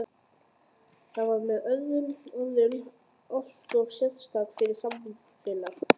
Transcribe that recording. Það var með öðrum orðum alltof sérstakt fyrir samfélagið.